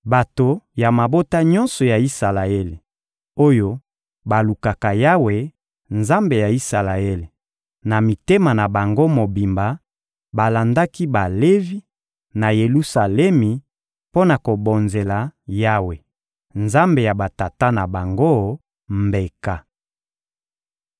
Bato ya mabota nyonso ya Isalaele, oyo balukaka Yawe, Nzambe ya Isalaele, na mitema na bango mobimba balandaki Balevi, na Yelusalemi, mpo na kobonzela Yawe, Nzambe ya batata na bango, mbeka.